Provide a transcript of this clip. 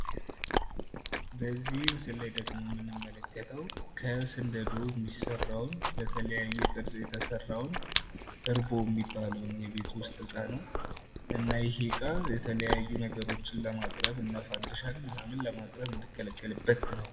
በዚህ ምስል ላይ ደግሞ የምንመለከተው ከስንደዶ የሚሰራውን በተለያዩ ቅርፅ እርቦ የሚባለውን የቤት ውስጥ ዕቃ ነው። እና ይህ ዕቃ የተለያዩ ነገሮችን ለማቅረብ እንደፈንድሻ ምናምን ለማቅረብ የምንገለገልበት ነው።